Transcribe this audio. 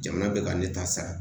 Jamana bɛ ka ne ta sara